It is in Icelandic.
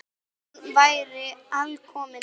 Hún væri alkomin heim.